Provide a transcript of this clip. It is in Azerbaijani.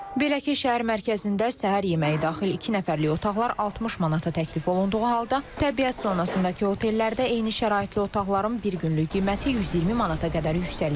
Belə ki, şəhər mərkəzində səhər yeməyi daxil iki nəfərlik otaqlar 60 manata təklif olunduğu halda, təbiət zonasındakı otellərdə eyni şəraitli otaqların bir günlük qiyməti 120 manata qədər yüksəlir.